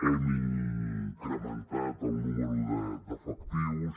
hem incrementat el nombre d’efectius